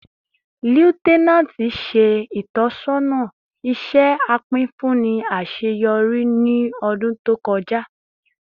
Lieutenant ṣe itọsọna iṣẹ apinfunni aṣeyọri aṣeyọri ni ọdun to kọja